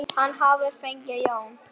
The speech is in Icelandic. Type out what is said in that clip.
Hann hafði fengið John